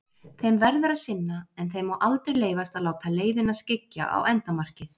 Þeim verður að sinna, en þeim má aldrei leyfast að láta leiðina skyggja á endamarkið.